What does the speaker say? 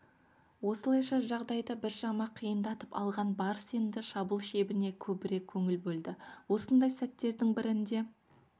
осылайша жағдайды біршама қиындатып алған барыс енді шабуыл шебіне көбірек көңіл бөлді осындай сәттердің бірінде